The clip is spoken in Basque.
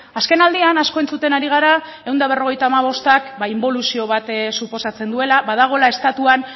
azken aldian asko entzuten ari gara ehun eta berrogeita hamabostak inboluzio bat suposatzen duela badagoela estatuan